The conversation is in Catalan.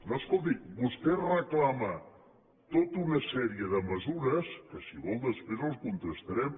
no escolti vostè reclama tota una sèrie de mesures que si ho vol després les contrastarem